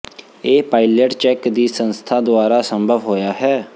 ਇਹ pilot check ਦੀ ਸੰਸਥਾ ਦੁਆਰਾ ਸੰਭਵ ਹੋਇਆ ਹੈ